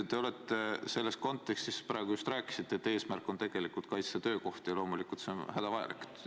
Te praegu just rääkisite, et eesmärk on kaitsta töökohti, ja loomulikult see on hädavajalik.